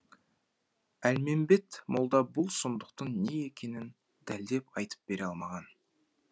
әлмембет молда бұл сұмдықтың не екенін дәлдеп айтып бере алмаған